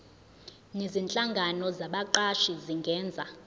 nezinhlangano zabaqashi zingenza